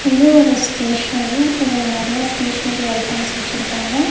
இது ஒரு ஸ்டேஷனரி இதுல நறைய ஸ்டேஷனரி ஐட்டம்ஸ் வெச்சிருக்காங்க.